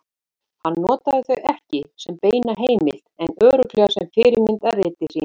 Hann notaði þau ekki sem beina heimild en örugglega sem fyrirmynd að riti sínu.